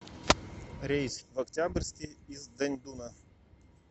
рейс в октябрьский из даньдуна